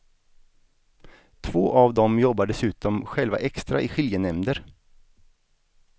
Två av dem jobbar dessutom själva extra i skiljenämnder.